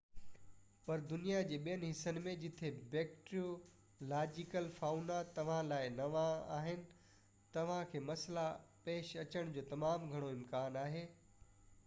پر دنيا جي ٻين حصن ۾ جتي بيڪٽيريو لاجيڪل فائونا توهان لاءِ نوان آهن توهان کي مسئلا پيش اچڻ جو تمام گهڻو امڪان آهي